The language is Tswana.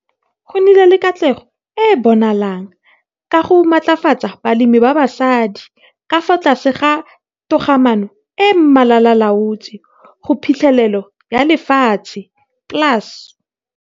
Go nnile le katlego e e bonalang ka go matlafatsa balemi ba basadi ka fa tlase ga Togamaano e e Malalaalaotswe go Phitlhelelo ya Lefatshe, PLAS.